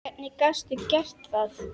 Hvernig gastu gert það?!